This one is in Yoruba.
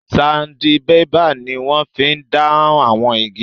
Sandibébà ni wọ́n fí n dán àwọn igi